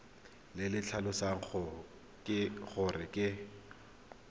le le tlhalosang gore ke